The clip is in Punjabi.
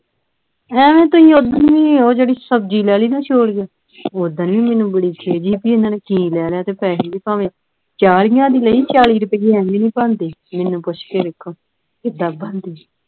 ਹੈਂ ਤੁਸੀਂ ਉੱਦਣ ਵੀ ਜਿਹੜੀ ਸਬਜ਼ੀ ਲੈ ਲਈ ਨਾ ਛੋਲੀਏ ਓਦਣ ਵੀ ਮੈਨੂੰ ਬੜੀ ਖਿੱਝ ਸੀ ਕੇ ਇਹਨਾਂ ਨੇ ਕੀ ਲੈ ਲਿਆ ਤੇ ਪੈਸੇ ਵੀ ਭਾਵੇਂ ਚਾਲਿਆਂ ਦੀ ਲਈ ਚਾਲਿਆਂ ਰੁਪਏ ਐਵੇਂ ਨਹੀਂ ਬਣਦੇ ਮੈਨੂੰ ਪੁੱਛ ਕੇ ਵੇਖੋ ਕਿੱਦਾਂ ਬਣਦੀ